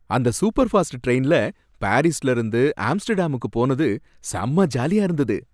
அந்த super fast டிரெயின்ல பாரிஸ்ல இருந்து ஆம்ஸ்டர்டாமுக்கு போனது செம்ம ஜாலியா இருந்தது.